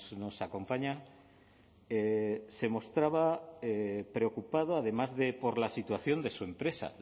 nos acompaña se mostraba preocupado además de por la situación de su empresa